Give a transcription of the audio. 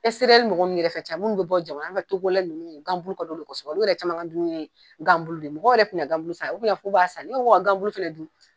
ɛseriyɛri mɔgɔ nunnu yɛrɛ ka ca munnu be bɔ jamana an ka togolɛ nunnu gan bulu k'a d'olu kosɛbɛ olu yɛrɛ caman ka dumuni ye gan bulu de ye mɔgɔw yɛrɛ ti na gan bulu san olu bi na fɔ k'u b'a san ne yɛrɛ ko ka gan bulu fɛnɛ dun